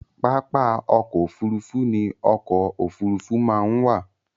Pápá ọkọ̀-òfurufú ní ọkọ̀-òfurufú máa ń wà.